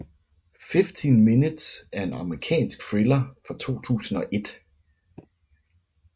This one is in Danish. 15 Minutes er en amerikansk thriller fra 2001